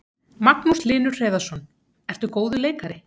Magnús Hlynur Hreiðarsson: Ertu góður leikari?